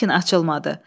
Lakin açılmadı.